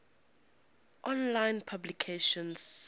online publication september